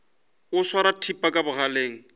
o swara thipa ka bogaleng